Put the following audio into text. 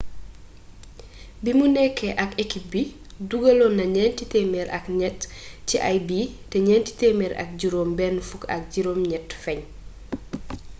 bimu nekké ak ekip bi dugalonna nienti temer ak niet ci ay bii té nienti temer ak jirom ben fuk ak jirom niet fegn